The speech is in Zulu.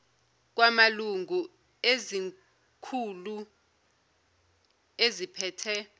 kwamalungu ezikhulu eziphethe